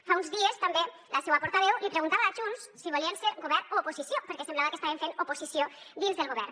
fa uns dies també la seua portaveu li preguntava a junts si volien ser govern o oposició perquè semblava que estaven fent oposició dins del govern